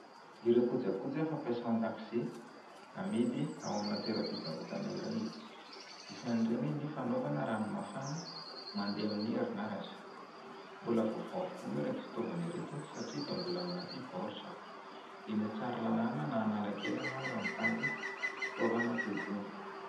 Ireo kojakoja fampiasa ao an-dakozia amidy ao amina toeraam-pivarotana iray. Isan'ireny ny fanaovana rano mafana mandeha amin'ny herinaratra. Mbola vaovao avokoa moa ireto fitaovana ireto satria dia mbola ao anaty baoritra. Eny Tsaralalàna na Analakely moa raha mitady fitaovana toa itony.